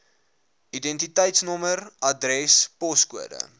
identiteitsnommer adres poskode